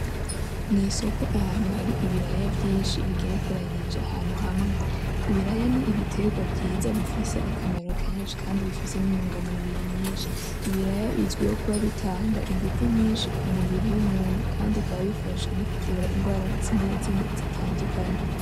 Mwisoko ahantu hari ibiraya vyimshi bigerekaranije ahantu hamwe. Ibiraya ni ibiterwa vyiza bifise akamaro kenshi kandi bifise nintungamubiri nyinshi. Ibiraya bizwi ko bitanga inguvu nyinshi mumubiri kandi bikaba bifasha kuvura inrwara zimwe zimwe zitandukanye.